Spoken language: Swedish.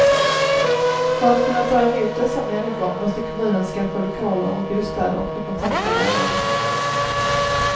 För att kunna ta emot dessa människor måste kommunen skaffa lokaler och bostäder och kontakta lärare.